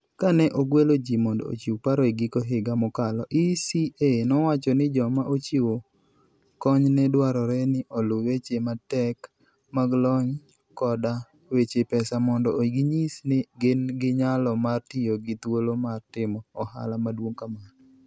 Kane ogwelo ji mondo ochiw paro e giko higa mokalo, ECA nowacho ni joma chiwo kony ne dwarore ni oluw weche matek mag lony koda weche pesa mondo ginyis ni gin gi nyalo mar tiyo gi thuolo mar timo ohala maduong' kamano.